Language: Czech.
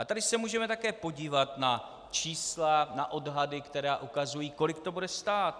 A tady se můžeme také podívat na čísla, na odhady, které ukazují, kolik to bude stát.